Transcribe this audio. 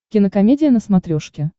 кинокомедия на смотрешке